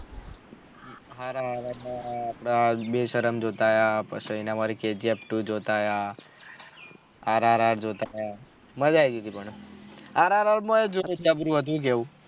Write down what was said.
હારા હારા આપળે બેશરમ જોતા આયા પછી એના વાડી KGFto જોતા આયા RRR જોતા આયા મજા આયી ગયી થી પણ RRR માં જબરું હતું હું કેહ્યું